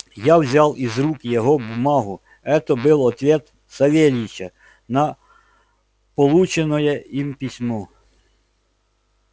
я взял из рук его бумагу это был ответ савельича на полученное им письмо